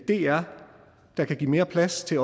dr der kan give mere plads til